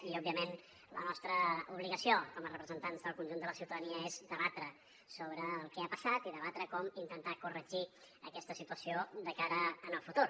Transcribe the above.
i òbviament la nostra obligació com a representants del conjunt de la ciutadania és debatre sobre el que ha passat i debatre com intentar corregir aquesta situació de cara al futur